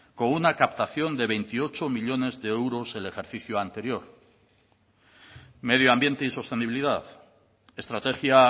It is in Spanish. con una captación de veintiocho millónes de euros el ejercicio anterior medio ambiente y sostenibilidad estrategia